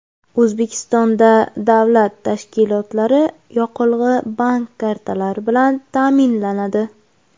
O‘zbekistonda davlat tashkilotlari yoqilg‘i bank kartalari bilan ta’minlanadi.